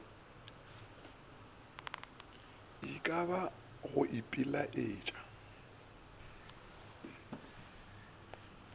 e ka ba go ipiletša